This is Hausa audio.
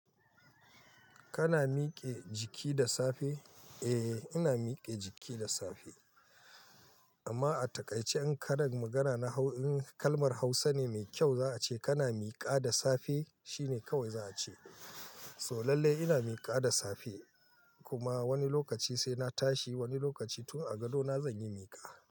Kana mike jiki da safe? Eh ina mike jiki da safe. Amma a takaice in karan magana na kalmar hausa ne mai kyau za a ce kana mika da safe shine kawai za a ce. Toh lallai ina mika da safe. Kuma wani lokaci sai na tashi wani lokaci tun a gadona zan yi mika.